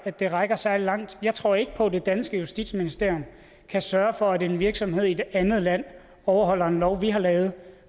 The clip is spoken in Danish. at det rækker særlig langt jeg tror ikke på at det danske justitsministerium kan sørge for at en virksomhed i et andet land overholder en lov vi har lavet